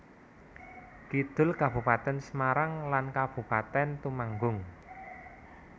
Kidul Kabupatèn Semarang lan Kabupatèn Temanggung